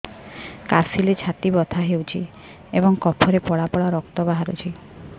କାଶିଲେ ଛାତି ବଥା ହେଉଛି ଏବଂ କଫରେ ପଳା ପଳା ରକ୍ତ ବାହାରୁଚି